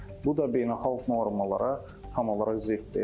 Bu da beynəlxalq normalara tam olaraq ziddir.